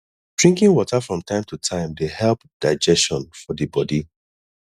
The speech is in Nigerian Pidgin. drinking water from time to time dey help digestion for di bodi